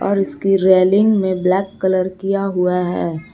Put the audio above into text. इसके रेलिंग में black colour किया हुआ है।